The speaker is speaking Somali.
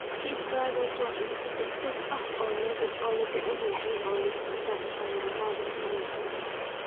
Cheeseburgers waa cunto degdeg ah oo la jecel yahay oo leh isku-dar aan dhammaad lahayn.